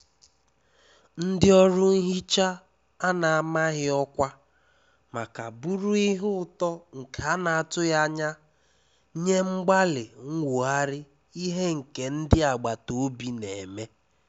Ndí ọ́rụ́ nhíchá à nà-àmághí ọ́kwá mákà bụ́rụ́ íhé ụ́tọ́ nké à nà-àtụghí ányá nyé mgbálị́ nwóghárí íhé nké ndí àgbátá òbí n’émé.